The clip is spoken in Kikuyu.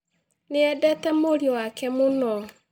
Nĩ eendete mũriũ wake mũno